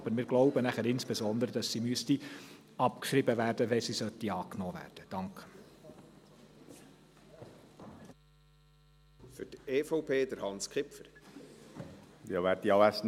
Aber wir glauben insbesondere, dass sie abgeschrieben werden müsste, wenn sie angenommen werden sollte.